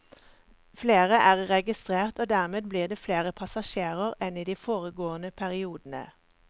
Flere er registrert og dermed blir det flere passasjerer enn i de foregående periodene.